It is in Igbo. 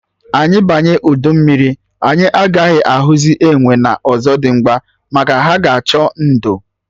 Anyị banye udu mmiri, anyị agaghị ahụzị enwe na Ọzọdimgba, maka ha ga-achọ ndo